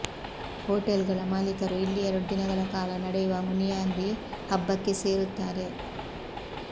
hotel ಗಳ ಮಾಲೀಕರು ಇಲ್ಲಿ ಎರಡು ದಿನಗಳ ಕಾಲ ನಡೆಯುವ ಮುನಿಯಾಂದಿ ಹಬ್ಬಕ್ಕೆ ಸೇರುತ್ತಾರೆ